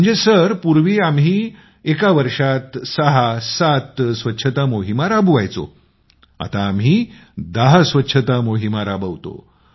म्हणजे पूर्वी आम्ही एका वर्षात 67 स्वच्छता मोहीम राबवायचो आता आम्ही 10 स्वच्छता मोहीम राबवतो